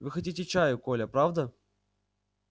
вы хотите чаю коля правда